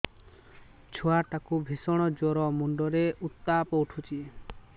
ଛୁଆ ଟା କୁ ଭିଷଣ ଜର ମୁଣ୍ଡ ରେ ଉତ୍ତାପ ଉଠୁଛି